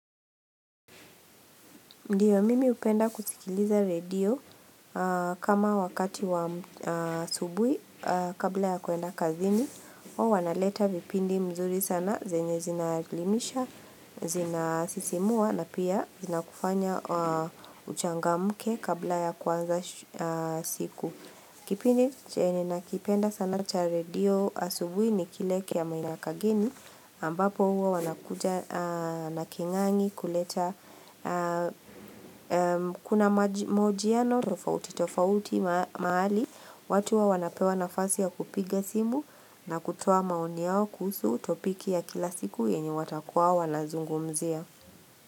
Ndiyo, mimi upenda kusikiliza redio kama wakati wa asubuhi kabla ya kwenda kazini. O wanaleta vipindi mzuri sana, zenye zinaelimisha, zinasisimua na pia zina kufanya uchangamke kabla ya kuanza siku. Kipindi chenye ninakipenda sana cha radio asubuhi ni kile kya Maina Kagini ambapo uwa wanakuja na King'ang'i kuleta kuna maojiano tofauti tofauti mahali watu huwa wanapewa nafasi ya kupiga simu na kutoa maoni yao kuhusu topiki ya kila siku yenye watakuwa wanazungumzia.